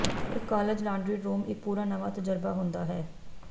ਇੱਕ college laundry room ਇੱਕ ਪੂਰਾ ਨਵਾਂ ਤਜਰਬਾ ਹੁੰਦਾ ਹੈ